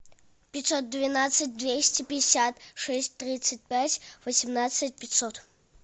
пятьсот двенадцать двести пятьдесят шесть тридцать пять восемнадцать пятьсот